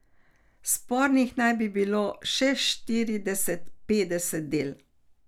Spornih naj bi bilo še štirideset, petdeset del.